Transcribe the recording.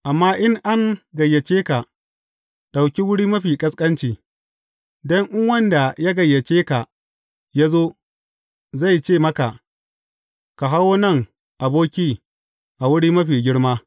Amma in an gayyace ka, ɗauki wuri mafi ƙasƙanci, don in wanda ya gayyace ka ya zo, zai ce maka, Ka hawo nan aboki a wuri mafi girma.’